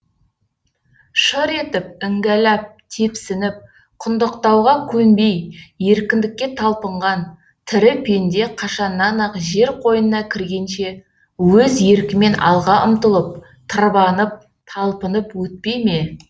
шыр етіп іңгәләп тепсініп құндақтауға көнбей еркіндікке талпынған тірі пенде қашаннан ақ жер қойнына кіргенше өз еркімен алға ұмтылып тырбанып талпынып өтпей ме